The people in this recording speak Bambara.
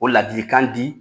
O ladii kan di